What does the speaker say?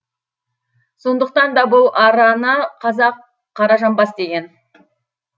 сондықтан да бұл арана қазақ қаражамбас деген